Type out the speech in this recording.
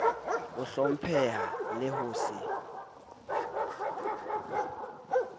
ho hlompheha le ho se